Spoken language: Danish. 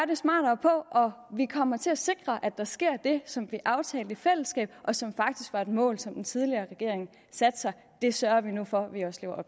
det smartere på og vi kommer til at sikre at der sker det som vi aftalte i fællesskab og som faktisk var et mål som den tidligere regering satte sig det sørger vi nu for at vi også lever